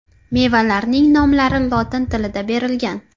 Mevalarning nomlari lotin tilida berilgan.